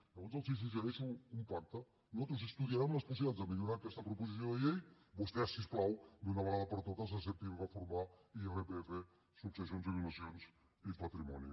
llavors els suggereixo un pacte nosaltres estudiarem les possibilitats de millorar aquesta proposició de llei vostès si us plau d’una vegada per totes acceptin reformar irpf successions i donacions i patrimoni